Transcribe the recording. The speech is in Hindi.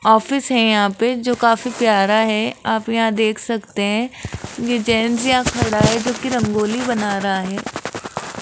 ऑफिस है यहां पे जो काफी प्यारा है आप यहां देख सकते है ये जेंट्स यहां खड़ा है जोकि रंगोली बना रहा है।